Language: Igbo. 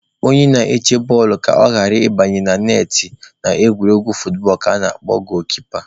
Onye na-eche bọọlụ ka ọ ghara ị banye na netị n'egwuregwu footbọọlụ ka ana-akpọ goolu-kipa